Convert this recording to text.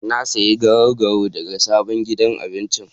Na sayi garau-garau daga sabon gidan abinci.